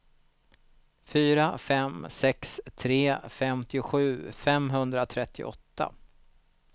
fyra fem sex tre femtiosju femhundratrettioåtta